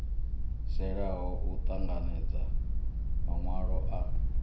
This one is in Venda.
xelaho u ṱanganedza maṅwalo a